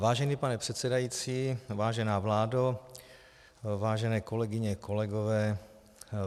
Vážený pane předsedající, vážená vládo, vážené kolegyně, kolegové.